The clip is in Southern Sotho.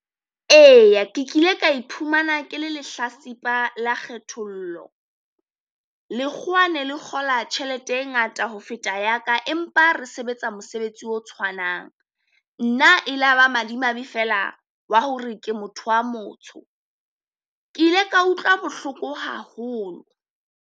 Eya ke kile ka iphumana ke le lehlatsipa le kgethollo, lekgowa ne le kgola tjhelete e ngata ho feta ya ka, empa re sebetsa mosebetsi o tshwanang. Nna e la ba madimabe feela wa hore ke motho wa motsho, Ke ile ka utlwa bohloko haholo.